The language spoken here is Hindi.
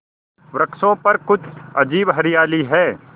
वृक्षों पर कुछ अजीब हरियाली है